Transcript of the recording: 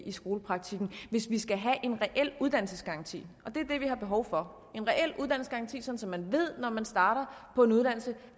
i skolepraktikken hvis vi skal have en reel uddannelsesgaranti og det er det vi har behov for så man ved når man starter på en uddannelse